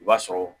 I b'a sɔrɔ